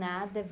Nada.